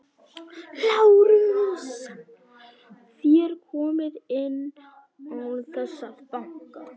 LÁRUS: Þér komið inn án þess að banka.